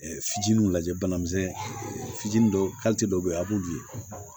Fitininw lajɛ bana misɛn fitinin dɔw dɔw be yen a b'olu ye